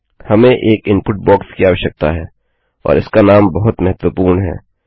हमें एक input box की आवश्यकता है और इसका नाम बहुत महत्वपूर्ण है